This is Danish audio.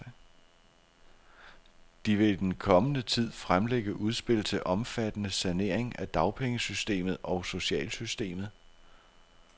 De vil i den kommende tid fremlægge udspil til omfattende saneringer af dagpengesystemet og socialsystemet.